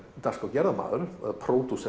dagskrárgerðarmaður eða